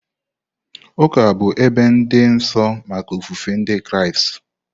Ụka bụ ebe dị nsọ maka ofufe Ndị Kraịst.